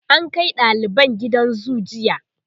an Kai daliban gidan zoo jiya